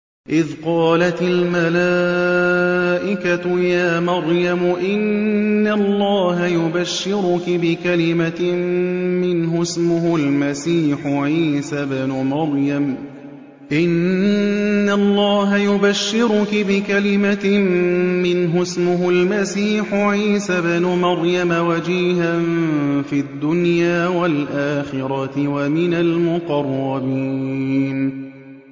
إِذْ قَالَتِ الْمَلَائِكَةُ يَا مَرْيَمُ إِنَّ اللَّهَ يُبَشِّرُكِ بِكَلِمَةٍ مِّنْهُ اسْمُهُ الْمَسِيحُ عِيسَى ابْنُ مَرْيَمَ وَجِيهًا فِي الدُّنْيَا وَالْآخِرَةِ وَمِنَ الْمُقَرَّبِينَ